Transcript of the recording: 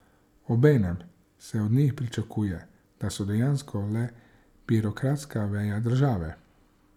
Obenem se od njih pričakuje, da so dejansko le birokratska veja države.